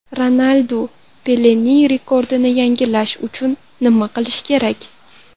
Ronaldu Pelening rekordini yangilash uchun nima qilishi kerak?